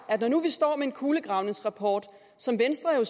når nu vi står med en kulegravningsrapport som venstre jo